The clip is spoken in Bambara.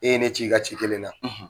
E ye ne ci i ka ci kelen na